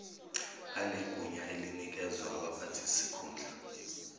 banegunya elinikezwa abaphathisikhundla